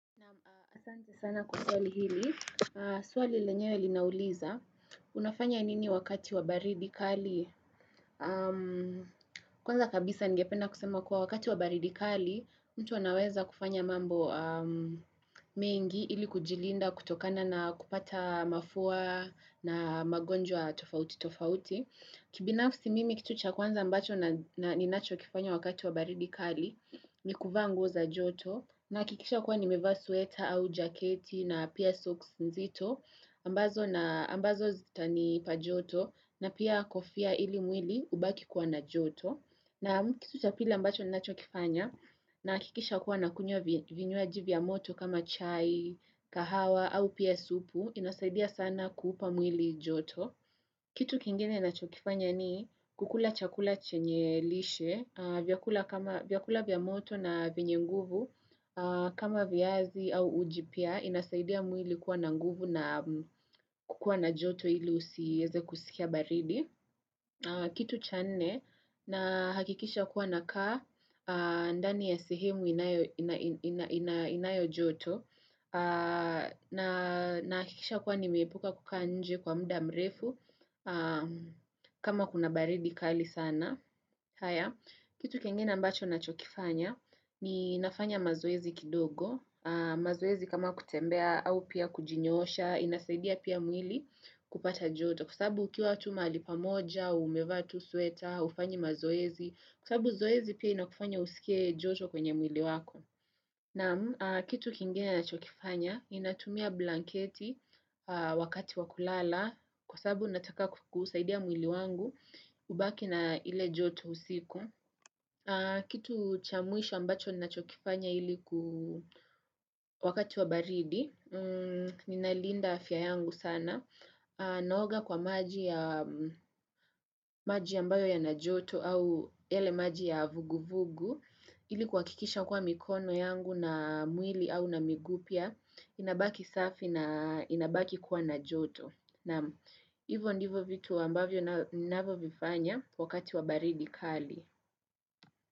Na asante sana kwa swali hili, swali lenyewe linauliza, unafanya nini wakati wa baridi kali? Kwanza kabisa ningependa kusema kuwa wakati wa baridi kali, mtu anaweza kufanya mambo mengi ili kujilinda kutokana na kupata mafua na magonjwa tofauti tofauti. Kibinafsi mimi kitu cha kwanza ambacho na ninachokifanya wakati wa baridi kali ni kuvaa nguo za joto nakikisha kuwa nimevaa sweta au jaketi na pia socks nzito ambazo na ambazo zitanipa joto na pia kofia ili mwili ubaki kwa na joto na kitu cha pili ambacho ninachokifanya nahakikisha kuwa nakunywa vinywaji vya moto kama chai, kahawa au pia supu inasaidia sana kuupa mwili joto Kitu kingine nachokifanya ni kukula chakula chenye lishe, vyakula vya moto na vyenye nguvu kama viazi au uji pia inasaidia mwili kuwa na nguvu na kukua na joto ili usiweze kusikia baridi. Kitu cha nne nahakikisha kuwa nakaa ndani ya sehemu inayo joto nahakikisha kuwa nimeepuka kukaa nje kwa muda mrefu kama kuna baridi kali sana. Haya, kitu kingine ambacho nachokifanya, ni nafanya mazoezi kidogo, mazoezi kama kutembea au pia kujinyoosha, inasaidia pia mwili kupata joto, kwa sababu ukiwa tu mahali pamoja, umevaa tu sweta, hufanyi mazoezi, kwa sababu zoezi pia inakufanya usikie joto kwenye mwili wako. Naam kitu kingine nachokifanya, ninatumia blanketi wakati wa kulala kwa sababu nataka kuusaidia mwili wangu ubaki na ile joto usiku. Kitu cha mwisho ambacho ninachokifanya ili ku wakati wa baridi, ninalinda afya yangu sana. Naoga kwa maji ya ambayo yana joto au yale maji ya vuguvugu ili kuhakikisha kuwa mikono yangu na mwili au na miguu pia inabaki safi na inabaki kuwa na joto Naam hivo ndivyo vitu ambavyo ninavo vifanya wakati wa baridi kali.